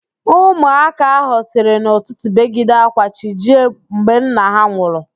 Ụmụaka ahụ siri n'ụtụtụ begide ạ́kwá chi jie mgbe nna ha nwụrụ